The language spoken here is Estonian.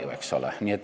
Ei ole ju.